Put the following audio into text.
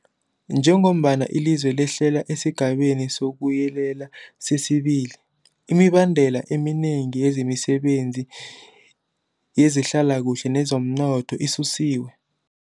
Njengombana ilizwe lehlela esiGabeni sokuYelela sesi-2, imibandela eminengi yemisebenzi yezehlalakuhle neyezomnotho isusiwe.